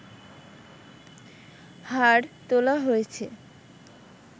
হাড় তোলা হয়েছে